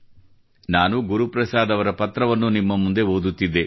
ನಾನು ಗುರುಪ್ರಸಾದ್ ಅವರ ಈ ಪತ್ರವನ್ನು ನಿಮ್ಮ ಮುಂದೆ ಓದುತ್ತಿದ್ದೆ